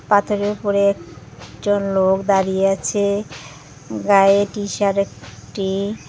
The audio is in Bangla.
পাথরের উপরে একজন লোক দাঁড়িয়ে আছে গায়ে টিশার্ট একটি।